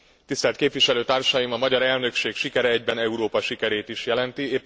Tisztelt képviselőtársaim, a magyar elnökség sikere egyben Európa sikerét is jelenti.